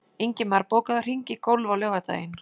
Ingimar, bókaðu hring í golf á laugardaginn.